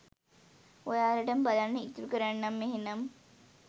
ඔයාලටම බලන්න ඉතුරු කරන්නම් එහෙනම්.